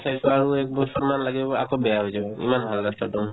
চাইছো আৰু একবছৰমান লাগিব আকৌ বেয়া হৈ যাব ইমান ভাল ৰাস্তাতো